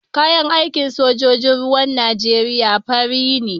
Kayan aikin sojojin ruwan Nijeriya fari ne.